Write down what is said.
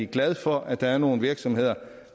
glad for at der er nogle virksomheder